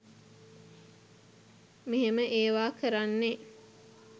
මෙහෙම ඒව කරන්නෙ.